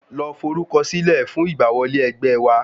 Lọ forúkọ sílẹ̀ fún ìgbà wọlé ẹgbẹ́ wa